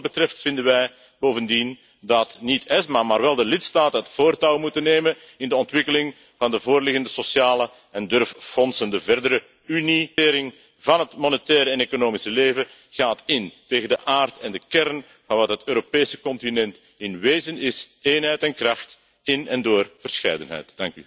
Ten gronde vinden wij bovendien dat niet ESMA maar wel de lidstaten het voortouw moeten nemen in de ontwikkeling van de voorliggende sociale en durffondsen. De verdere eenmaking van het monetaire en economische leven gaat in tegen de aard en de kern van wat het Europese continent in wezen is eenheid en kracht in en door verscheidenheid.